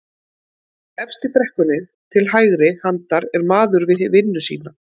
Efst í brekkunni til hægri handar er maður við vinnu sína